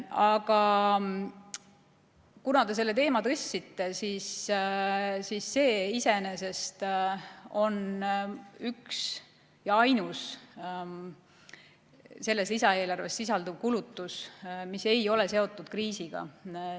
Aga kuna te selle teema tõstatasite, siis olgu öeldud, et see on üks ja ainus selles lisaeelarves sisalduv kulutus, mis ei ole seotud kriisiga.